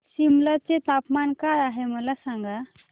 सिमला चे तापमान काय आहे मला सांगा